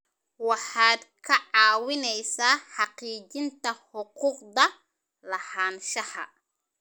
Waxaad ka caawinaysaa xaqiijinta xuquuqda lahaanshaha.